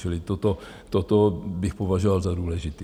Čili toto bych považoval za důležité.